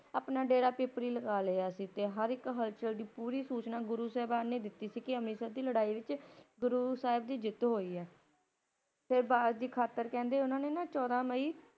ਆਪਣਾ ਡੇਰਾ ਪੀਪਲੀ ਲਗਾ ਲਿਆ ਸੀ ਤੇ ਹਰ ਇਕ ਹਲਚਲ ਦੀ ਪੂਰੀ ਸੂਚਨਾ ਉਹਨਾਂ ਨੇ ਗੁਰੂ ਸਾਹਿਬ ਨੇ ਦਿੱਤੀ ਸੀ ਕਿ ਅੰਮ੍ਰਿਤਸਰ ਦੀ ਲੜਾਈ ਵਿੱਚ ਗੁਰੂ ਸਾਹਿਬ ਦੀ ਜਿੱਤ ਹੋਈ ਹੈ। ਫਿਰ ਬਾਜ਼ ਦੇ ਖਾਤਰ ਕਹਿੰਦੇ ਉਨ੍ਹਾਂ ਨੇ ਚੌਦਾ ਮਈ